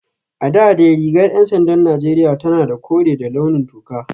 A da dai rigar ‘yan sandan Najeriya tana da kore da launin toka